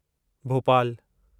भोपालु